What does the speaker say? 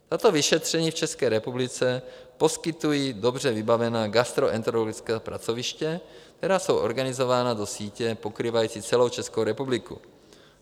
Tato vyšetření v České republice poskytují dobře vybavená gastroenterologická pracoviště, která jsou organizována do sítě pokrývající celou Českou republiku.